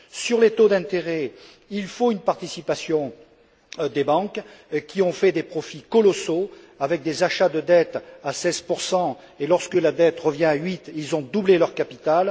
Sur les taux d'intérêt, il faut une participation des banques, qui ont fait des profits colossaux avec des achats de dettes à 16 et qui, lorsque la dette est revenue à 8 ont doublé leur capital.